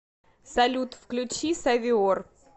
салют включи савиор